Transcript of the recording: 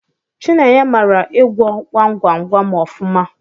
Chinenye mara ịgwọ gwam gwam gwam ọfụma.